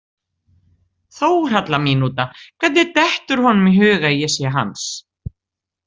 „Þórhalla mínúta“ Hvernig dettur honum í hug að ég sé hans?